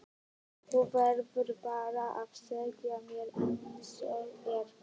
Þú verður bara að segja mér einsog er.